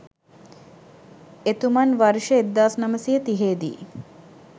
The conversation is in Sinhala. එතුමන් වර්ෂ 1930 දී